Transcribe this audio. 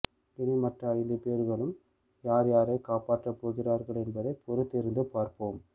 இனி மற்ற ஐந்து பேர்களும் யார் யாரை காப்பாற்ற போகின்றார்கள் என்பதை பொருத்திருந்து பார்ப்போம்